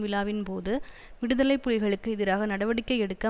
விழாவின்போது விடுதலை புலிகளுக்கு எதிராக நடவடிக்கை எடுக்க